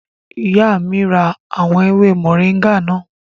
Ìyá mi ra àwọn ewé mọ̀ríńgà náà